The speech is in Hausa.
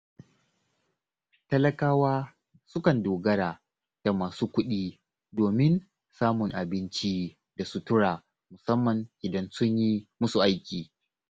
Talakawa sukan dogara da masu kuɗi domin samun abinci da sutura musamman idan sun yi musu aiki.